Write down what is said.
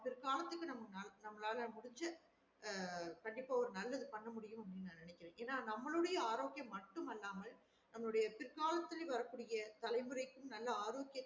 பிற்காலத்துக்கு நம்மலால முடுஞ்ச ஆஹ் கண்டிப்பா ஒரு நல்லது பண்ண முடியும் நா நெனக்குரே என்ன நம்மலுடைய ஆரோக்கியம் மட்டும் மல்லாமல் நம்மளுடைய பிற்காலத்தில வர கூடிய தலை முறைக்கு நல்ல ஆரோக்கியத்துக்கு